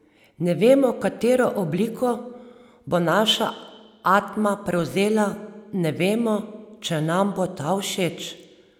Ne vemo, katero obliko bo naša atma prevzela, ne vemo, če nam bo ta všeč.